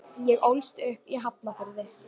Ég ólst upp í Hafnarfirði.